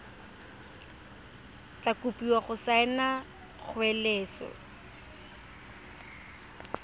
tla kopiwa go saena kgoeletso